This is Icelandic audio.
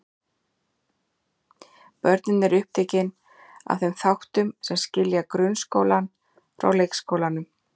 Börnin eru upptekin af þeim þáttum sem skilja grunnskólann frá leikskólanum.